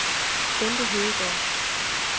Bente Hedegaard